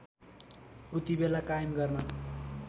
उतिबेला कायम गर्न